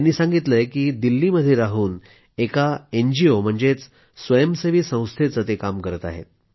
त्यांनी सांगितलंय की ते दिल्लीमध्ये राहून एका एनजीओ म्हणजेच स्वयंसेवी संस्थेचे काम करत आहेत